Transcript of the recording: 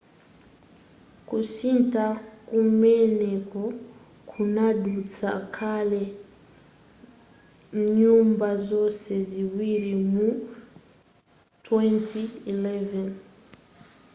kusintha kumeneku kunadutsa kale mnyumba zonse ziwiri mu 2011